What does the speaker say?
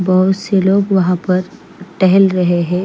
बोहोत से लोग वहा पर टहल रहे है।